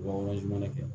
Wajibinɛ kɛ